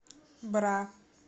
бра